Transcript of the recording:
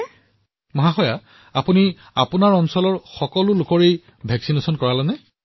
প্ৰধানমন্ত্ৰীঃ পুনমজী আপুনি আপোনাৰ অঞ্চলৰ সকলো লোকক টীকাকৰণ কৰাইছে নেকি